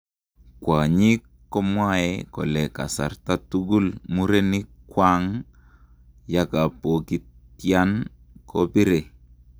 Kwanyik komwae kole kasartai tugul mirenik kwang yakapokitian ,kopiree.